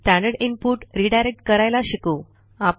standard input redirect करायला शिकू